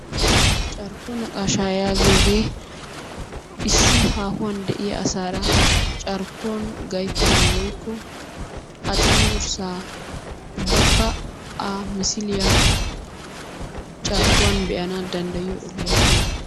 carkko naqaashaa yaagiyogee issi haahuwan diya asaara carkkuwan gayttanawu woykko a cengursaa ubakka a missiliya carkkuwan be'anawu danddayiyo ogoya gioypooga.